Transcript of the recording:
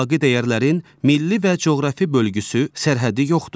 Əxlaqi dəyərlərin milli və coğrafi bölgüsü, sərhədi yoxdur.